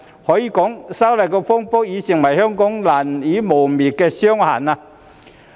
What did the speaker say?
可以說道，修例風波已成為香港難以磨滅的傷痕。